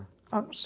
Ah, não se